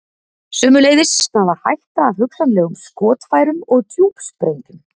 Sömuleiðis stafar hætta af hugsanlegum skotfærum og djúpsprengjum.